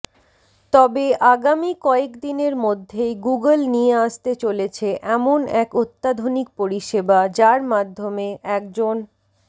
তবে আগামী কয়েকদিনের মধ্যেই গুগল নিয়ে আসতে চলেছে এমন এক অত্যাধুনিক পরিষেবা যার মাধ্যমে একজন